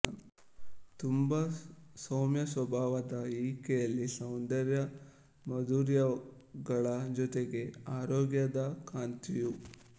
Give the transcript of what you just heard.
ತುಂಬ ಸೌಮ್ಯಸ್ವಭಾವದ ಈಕೆಯಲ್ಲಿ ಸೌಂದರ್ಯ ಮಾಧುರ್ಯಗಳ ಜೊತೆಗೆ ಆರೋಗ್ಯದ ಕಾಂತಿಯೂ